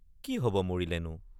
কি হব মৰিলেনো?